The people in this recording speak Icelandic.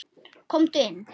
Komdu inn.